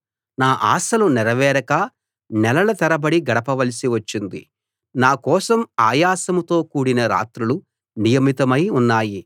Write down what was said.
నా ఆశలు నెరవేరక నెలల తరబడి గడపవలసి వచ్చింది నా కోసం ఆయాసంతో కూడిన రాత్రులు నియమితమై ఉన్నాయి